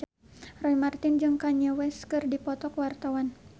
Roy Marten jeung Kanye West keur dipoto ku wartawan